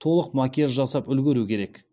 толық макияж жасап үлгеру керек